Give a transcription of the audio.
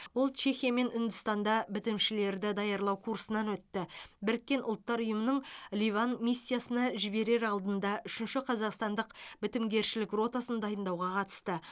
ол чехия мен үндістанда бітімшілерді даярлау курсынан өтті біріккен ұлттар ұйымының ливан миссиясына жіберер алдында үшінші қазақстандық бітімгершілік ротасын дайындауға қатысты